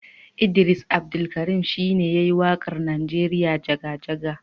Idris Abdulkarim shi ne ya yi waƙar Najeriya jaga-jaga.